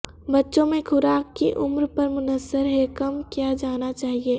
بچوں میں خوراک کی عمر پر منحصر ہے کم کیا جانا چاہئے